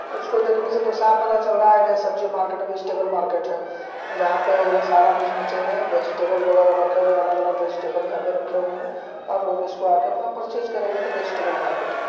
इसको देखने से तो साफ पता चल रहा है के यह सब्जी मार्केट है वेजिटेबल मार्केट है जहाँ पर यह सारा कुछ नीचे है वेजिटेबल वगैरा रखे हुए है अलग-अलग वेजिटेबल यहाँ पर रखे हुए हैं आप लोग इसको आकर अपना परचेस करेंगे तो वेजिटेबल मार्किट है।